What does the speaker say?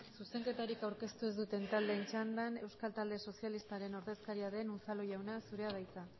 zuzenketarik aurkeztu ez duten taldeen txandan euskal talde sozialistaren ordezkaria den unzalu jauna zurea da hitza